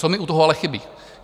Co mi u toho ale chybí.